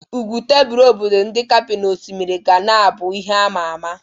Ugwu tebul obodo ndi Kape na osimiri ga na abụ ihe ama ama.